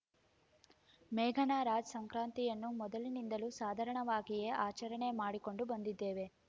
ಮೇಘನಾ ರಾಜ್‌ ಸಂಕ್ರಾಂತಿಯನ್ನು ಮೊದಲಿನಿಂದಲೂ ಸಾಧಾರಣವಾಗಿಯೇ ಆಚರಣೆ ಮಾಡಿಕೊಂಡು ಬಂದಿದ್ದೇವೆ